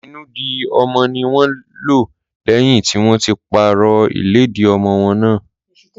Ìnùdí ọmọ ní wọ́n lò lẹ́yìn tí wọ́n ti pàrọ̀ ìlẹ́dì ọmọwọ́ náà.